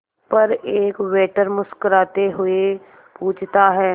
पर एक वेटर मुस्कुराते हुए पूछता है